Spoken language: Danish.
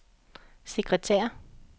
sekretær